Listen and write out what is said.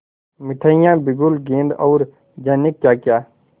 मिठाइयाँ बिगुल गेंद और जाने क्याक्या